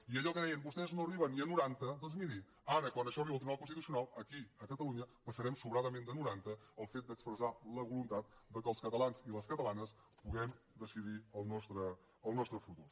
i allò que deien vostès no arriben ni a noranta doncs miri ara quan això arriba al tribunal constitucional aquí a catalunya passarem sobradament de noranta el fet d’expressar la voluntat que els catalans i les catalanes puguem decidir el nostre futur